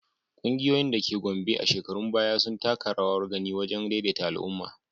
Ƙungiyoyin da ke Gombe a shekarun baya sun taka rawar gani wajen daidaita al’umma.